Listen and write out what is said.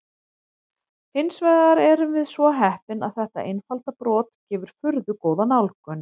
Hins vegar erum við svo heppin að þetta einfalda brot gefur furðu góða nálgun.